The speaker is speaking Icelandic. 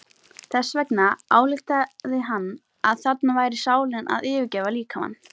Þess vegna ályktaði hann að þarna væri sálin að yfirgefa líkamann.